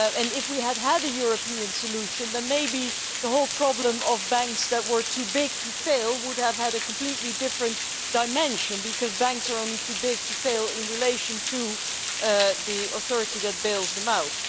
If we had had a European solution then maybe the whole problem of banks that were too big to fail would have had a completely different dimension, because banks are only too big to fail in relation to the authority that bails them out.